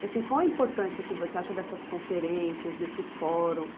E, assim, qual a importância que você acha dessas conferências, desse fórum?